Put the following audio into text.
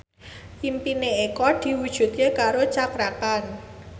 impine Eko diwujudke karo Cakra Khan